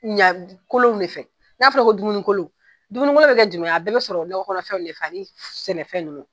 Ɲakolon de fɛ, n'a fɔra ko dumunikolon, dumunikolo bɛ kɛ a bɛɛ bɛ sɔrɔ nɔgɔ kɔnɔfɛn wde fɛ ni sɛnɛfɛn nunnu.